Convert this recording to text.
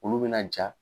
Olu bɛna ja